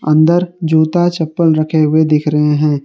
अंदर जूता-चप्पल रखे हुए दिख रहे हैं।